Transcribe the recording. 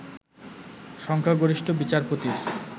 সংখ্যাগরিষ্ঠ বিচারপতির